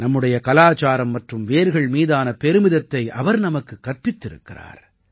நம்முடைய கலாச்சாரம் மற்றும் வேர்கள் மீதான பெருமிதத்தை அவர் நமக்குக் கற்பித்திருக்கிறார்